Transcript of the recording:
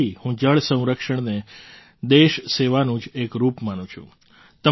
અને આથી હું જળ સંરક્ષણને દેશ સેવાનું જ એક રૂપ માનું છું